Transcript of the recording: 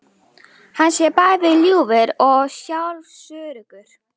Hann sé bæði ljúfur og sjálfsöruggur